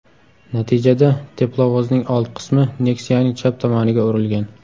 Natijada teplovozning old qismi Nexia’ning chap tomoniga urilgan.